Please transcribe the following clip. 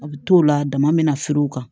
A bɛ t'o la dama bɛna feere o kan